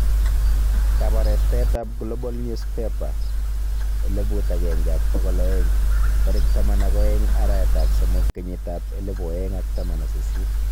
Kabarastaet ab Global Newspaper 1200 12/03/2018